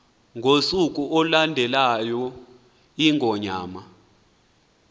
ngosuku olulandelayo iingonyama